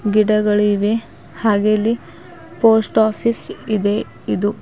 ಗಿಡಗಳಿವೆ ಹಾಗೆ ಇಲ್ಲಿ ಪೋಸ್ಟ್ ಆಫೀಸ್ ಇದೆ ಇದು--